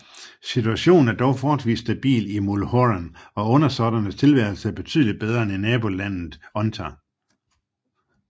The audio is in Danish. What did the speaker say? Situationen er dog forholdsvis stabil i Mulhorand og undersåtternes tilværelse er betydeligt bedre end i nabolandet Unther